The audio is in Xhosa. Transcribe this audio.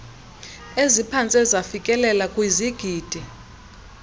eziphantse zafikelela kwizigidi